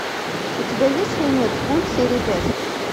у тебя есть фильмец культ серия пять